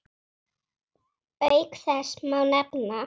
Auk þess má nefna